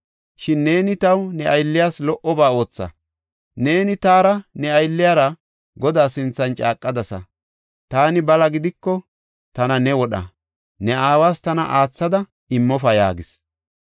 Shin neeni taw ne aylliyas lo77oba ootha; Neeni taara ne aylliyara Godaa sinthan caaqadasa. Taani bala gidiko, tana ne wodha; ne aawas tana aathada immofa” yaagis.